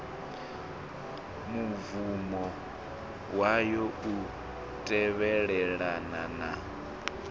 mubvumo wayo u tevhelelana na